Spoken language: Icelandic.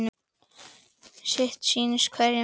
Sitt sýnist hverjum um málið.